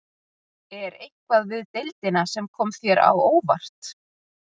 Er eitthvað við deildina sem kom þér á óvart?